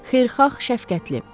Xeyirxah, şəfqətli.